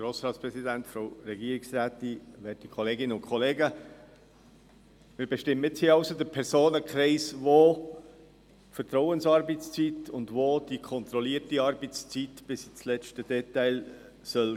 Wir bestimmen nun hier den Personenkreis, für den die Vertrauensarbeitszeit und die kontrollierte Arbeitszeit bis ins letzte Detail gelten soll.